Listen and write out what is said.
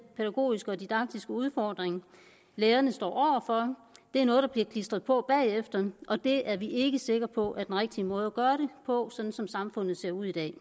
pædagogiske og didaktiske udfordring lærerne står for det er noget der bliver klistret på bagefter og det er vi ikke sikker på er den rigtige måde at gøre det på sådan som samfundet ser ud i dag